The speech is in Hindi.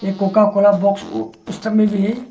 एक कोकाकोला बॉक्स में भी है।